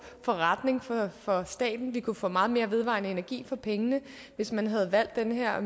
forretning for staten man kunne få meget mere vedvarende energi for pengene hvis man havde valgt den her